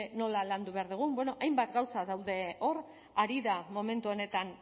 nola landu behar dugun bueno hainbat gauza daude hor ari da momentu honetan